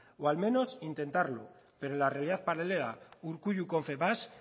o al menos intentarlo pero la realidad paralela urkullu confebask